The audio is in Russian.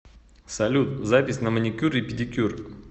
салют запись на маникюр и педикюр